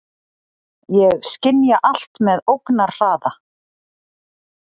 Ég skynja allt með ógnarhraða.